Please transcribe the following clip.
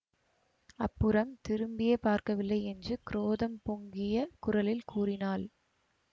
அப்புறம் திரும்பியே பார்க்கவில்லை என்று குரோதம் பொங்கிய குரலில் கூறினாள்